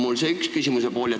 See on küsimuse üks pool.